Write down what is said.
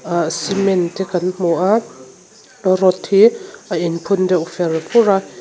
cement te kan hmu a rod hi a inphun deuh fer fur a.